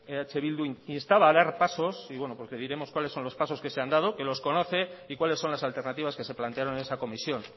eh bildu instaba a dar pasos y bueno pues le diremos cuáles son los pasos que se han dado que los conoce y cuáles son las alternativas que se plantearon en esa comisión